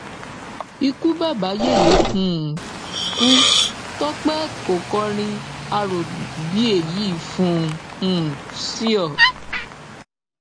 ikú bàbá yẹyẹ um kú tọpẹ ò kọrin arò bíi èyí fún un um síòó